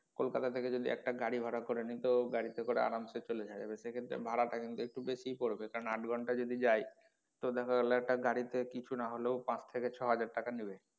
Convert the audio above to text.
কোলকাতা থেকে যদি একটা গাড়ি ভাড়া করে নেই তো গাড়ি তে করে আরাম সে চলে যাওয়া যাবে তো সেক্ষেত্রে ভাড়া টা কিন্তু একটু বেশি পড়বে কারন আট ঘণ্টা যদি যাই তো দেখা গেলো একটা গাড়ি তে কিছু না হলেও পাঁচ থেকে ছয় হাজার টাকা নেবে।